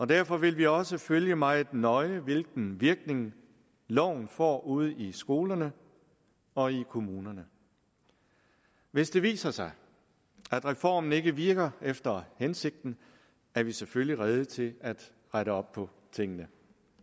derfor vil vi også følge meget nøje hvilken virkning loven får ude i skolerne og i kommunerne hvis det viser sig at reformen ikke virker efter hensigten er vi selvfølgelig rede til at rette op på tingene